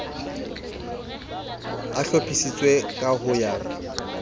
a hlophisitswe ka ho ya